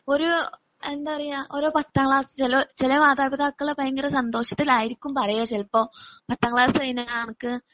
ഒരു എന്താ പറയുക ഒരു പത്താം ക്ലാസ്സില് ചില മാതാപിതാക്കള് ഭയങ്കര സന്തോഷത്തിലായിരിക്കും പറയുക ചിലപ്പോ ഇപ്പൊ പത്താം ക്ലാസ് കഴിഞ്ഞാൽ നിനക്ക്